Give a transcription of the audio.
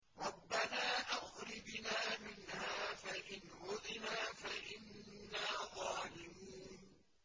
رَبَّنَا أَخْرِجْنَا مِنْهَا فَإِنْ عُدْنَا فَإِنَّا ظَالِمُونَ